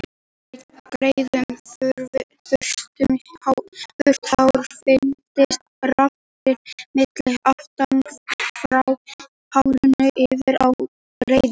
Þegar við greiðum þurrt hár flytjast rafeindir milli efnanna, frá hárinu yfir á greiðuna.